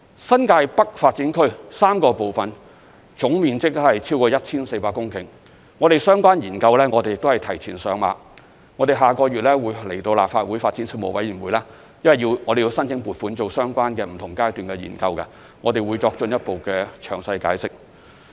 新界北發展區3個部分總面積超過 1,400 公頃，相關研究我們也是提前上馬，在下個月便會來到立法會發展事務委員會申請撥款進行相關的、不同階段的研究，我們屆時會作進一步的詳細解釋。